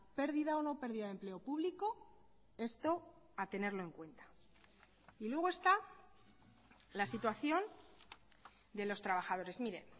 pérdida o no pérdida de empleo público esto a tenerlo en cuenta y luego está la situación de los trabajadores mire